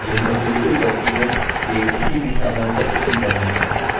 यह बिलकुल document के किसी भी साधारण text की तरह है